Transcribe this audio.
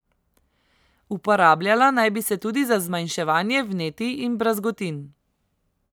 Uporabljala naj bi se tudi za zmanjševanje vnetij in brazgotin.